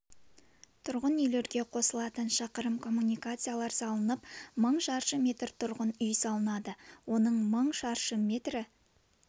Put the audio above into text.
тұрғын үйлерге қосылатын шақырым коммуникациялар салынып мың шаршы метр тұрғын үй салынады оның мың шаршы метрі